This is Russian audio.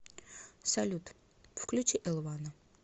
салют включи эл вана